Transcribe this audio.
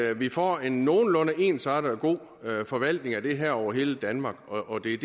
at vi får en nogenlunde ensartet og god forvaltning af det her over hele danmark og det er